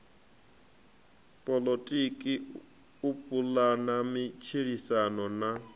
poḽotiki u pulana matshilisano na